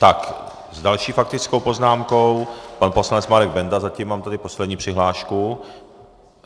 Tak s další faktickou poznámkou pan poslanec Marek Benda, zatím mám tady poslední přihlášku.